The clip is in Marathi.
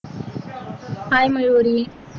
hi मयुरी